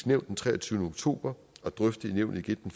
nævn den treogtyvende oktober og drøftet i nævnet igen